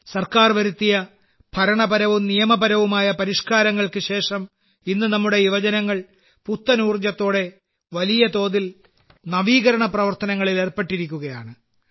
സർക്കാർ വരുത്തിയ ഭരണപരവും നിയമപരവുമായ പരിഷ്കാരങ്ങൾക്ക് ശേഷം ഇന്ന് നമ്മുടെ യുവജനങ്ങൾ പുത്തൻ ഊർജത്തോടെ വലിയ തോതിൽ നവീകരണ പ്രവർത്തനങ്ങളിൽ ഏർപ്പെട്ടിരിക്കുകയാണ്